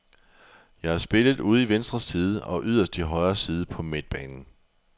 Jeg har spillet ude i venstre side og yderst i højre side på midtbanen.